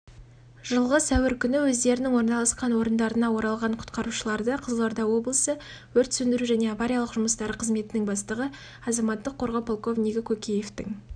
су басқан үйлер мен аулалардың иелеріне уақытпен санаспай көмек көрсетті тұрғындарға үздіксіз үгіт насихат жұмыстары